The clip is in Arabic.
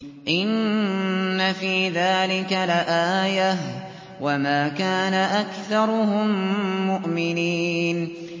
إِنَّ فِي ذَٰلِكَ لَآيَةً ۖ وَمَا كَانَ أَكْثَرُهُم مُّؤْمِنِينَ